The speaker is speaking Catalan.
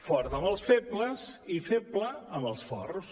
fort amb els febles i feble amb els forts